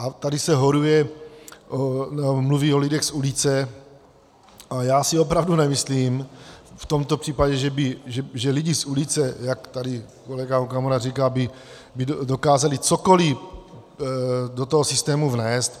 A tady se horuje, mluví o lidech z ulice a já si opravdu nemyslím v tomto případě, že lidi z ulice, jak tady kolega Okamura říká, by dokázali cokoliv do toho systému vnést.